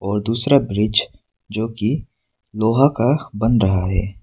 और दूसरा ब्रिज जोकि लोहा का बन रहा है।